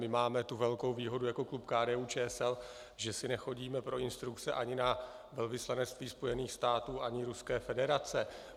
My máme tu velkou výhodu jako klub KDU-ČSL, že si nechodíme pro instrukce ani na velvyslanectví Spojených států ani Ruské federace.